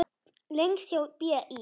Lengst hjá BÍ.